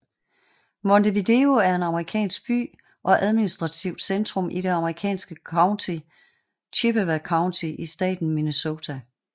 Montevideo er en amerikansk by og administrativt centrum i det amerikanske county Chippewa County i staten Minnesota